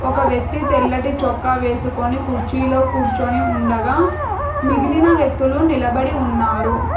ఒక వ్యక్తి తెల్లటి చొక్కా వేసుకొని కుర్చీలో కూర్చొని ఉండగా మిగిలిన వ్యక్తులు నిలబడి ఉన్నారు.